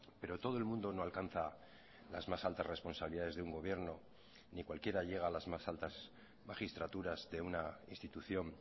pero todo el mundo no alcanza las más altas responsabilidades de un gobierno ni cualquiera llega a las más altas magistraturas de una institución